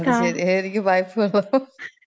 അത് ശരി...എനിക്ക് പൈപ്പ് വെള്ളോം.